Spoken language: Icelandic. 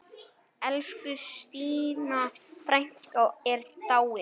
Elsku Stína frænka er dáin.